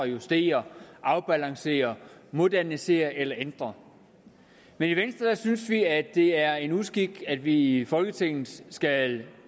justere afbalancere modernisere eller ændre men i venstre synes vi at det er en uskik at vi i folketinget skal